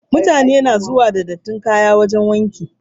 Mutane na zuwa da dattin kayan su wajen wanki.